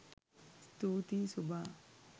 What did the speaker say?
ස්තුති සුභා